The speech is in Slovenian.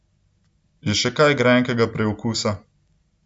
Je še kaj grenkega priokusa?